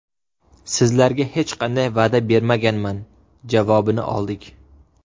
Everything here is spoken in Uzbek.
Sizlarga hech qanday va’da bermaganman” javobini oldik.